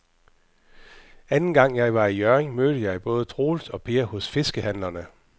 Anden gang jeg var i Hjørring, mødte jeg både Troels og Per hos fiskehandlerne.